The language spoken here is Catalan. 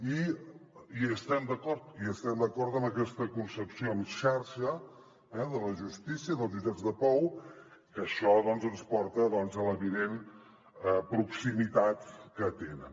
i hi estem d’acord i estem d’acord amb aquesta concepció en xarxa eh de la justícia dels jutjats de pau que això doncs ens porta a l’evident proximitat que tenen